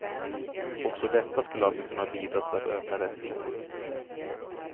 Också detta skulle alltså kunna bidra till att öka rättvisan.